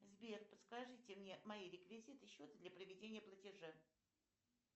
сбер подскажите мне мои реквизиты счета для проведения платежа